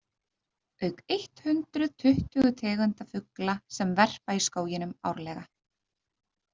Auk eitt hundruð tuttugu tegunda fugla sem verpa í skóginum árlega.